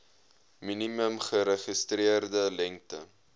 minimum geregistreerde lengte